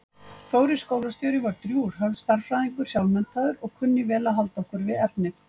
Þórir skólastjóri var drjúgur stærðfræðingur sjálfmenntaður og kunni vel að halda okkur við efnið.